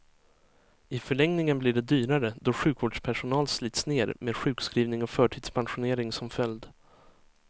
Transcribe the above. I förlängningen blir det dyrare, då sjukvårdspersonal slits ner, med sjukskrivning och förtidspensionering som följd.